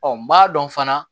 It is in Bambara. n b'a dɔn fana